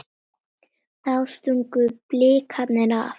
Þá stungu Blikar af.